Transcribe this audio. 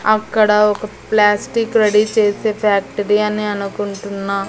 అక్కడ ఒక plastic ready చేసే ఫ్యాక్టరీ అని అనుకుంటున్నా.